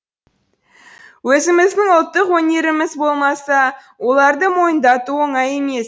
өзіміздің ұлттық өнеріміз болмаса оларды мойындату оңай емес